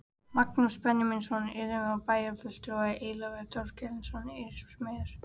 Magnús Benjamínsson úrsmiður og bæjarfulltrúi, Eyjólfur Þorkelsson úrsmiður